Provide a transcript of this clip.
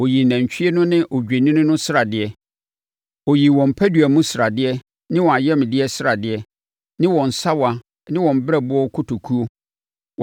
Ɔyii nantwie no ne odwennini no sradeɛ. Ɔyii wɔn padua mu sradeɛ ne wɔn ayamdeɛ sradeɛ, ne wɔn sawa ne wɔn berɛboɔ kotokuo.